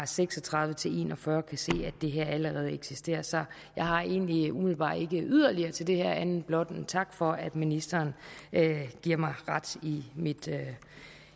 seks og tredive til en og fyrre kan se at det her allerede eksisterer så jeg har egentlig umiddelbart ikke yderligere til det her andet end blot en tak for at ministeren giver mig ret i mit